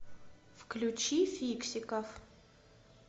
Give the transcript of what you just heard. включи фиксиков